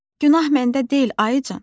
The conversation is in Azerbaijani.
Günah məndə deyil, ayıcən.